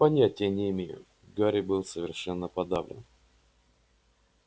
понятия не имею гарри был совершенно подавлен